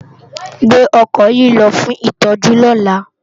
Gbé òkò yi lò fún itòjú lòlá